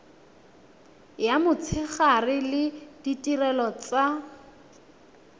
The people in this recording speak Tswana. ya motshegare le ditirelo tsa